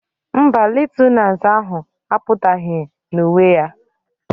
Mba, lieutenance ahụ apụtaghị na uwe ya